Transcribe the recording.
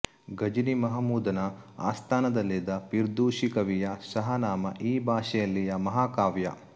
ಘಜ್ನಿ ಮಹಮೂದನ ಆಸ್ಥಾನದಲ್ಲಿದ್ದ ಪಿರ್ದೂಸಿ ಕವಿಯ ಷಹಾನಾಮ ಈ ಭಾಷೆಯಲ್ಲಿಯ ಮಹಾಕಾವ್ಯ